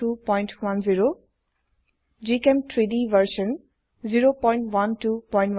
gchem3ডি version 01210